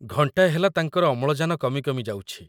ଘଣ୍ଟାଏ ହେଲା ତାଙ୍କର ଅମ୍ଳଜାନ କମି କମି ଯାଉଛି।